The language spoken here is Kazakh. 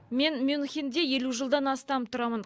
мен мюнхенде елу жылдан астам тұрамын